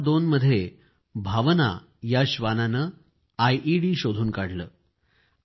2002 मध्ये भावना या श्वानांनी आयईडी शोधून काढले